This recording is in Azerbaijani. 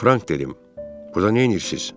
Frank dedim, burda neyləyirsiz?